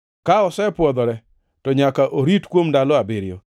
Ka osepwodhore, to nyaka orit kuom ndalo abiriyo.